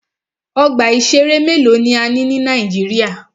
Ọgbà ìṣẹ̀rẹ́ mélòó ni a ní ní Nàíjíríà.